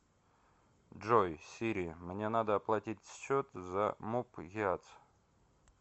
джой сири мне надо оплатить счет за муп гиац